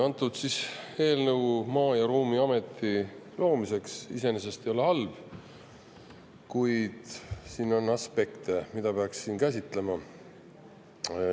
Antud eelnõu Maa- ja Ruumiameti loomiseks iseenesest ei ole halb, kuid siin on aspekte, mida peaks käsitlema.